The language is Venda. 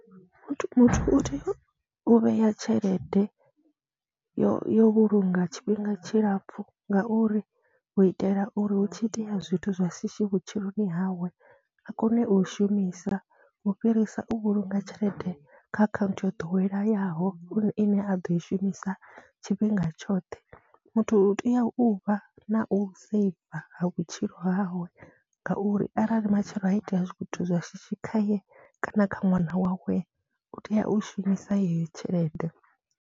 Muthu muthu u tea u vhea tshelede yo yo vhulunga tshifhinga tshilapfhu ngauri hu itela uri hu tshi itea zwithu zwa shishi vhutshiloni hawe a kone u i shumisa u u fhirisa u vhulunga tshelede kha akhaunthu yo ḓoweleyaho ine a ḓo i shumisa tshifhinga tshoṱhe. Muthu u tea u vha na u seiva ha vhutshilo hawe ngauri arali matshelo ha i tea zwithu zwa shishi khaye kana kha ṅwana wawe u tea u shumisa yeyo tshelede.